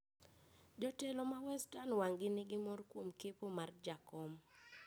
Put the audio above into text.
jotelo ma western wang`ni nigi mor kuom kepo mar jakom